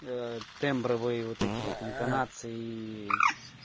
тембровые вот эти вот интонации